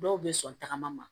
Dɔw bɛ sɔn tagama ma